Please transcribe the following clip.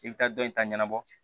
I bɛ taa dɔ in ta ɲɛnabɔ